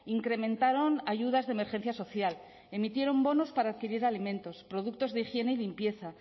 incrementaron ayudas de emergencia social emitieron bonos para adquirir alimentos productos de higiene y limpieza